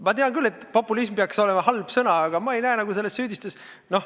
Ma tean küll, et "populism" peaks olema halb sõna, aga ma ei näe selle kasutamises süüdistust.